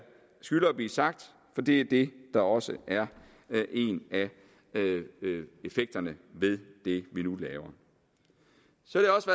blive sagt for det er det der også er en af effekterne af det vi nu laver så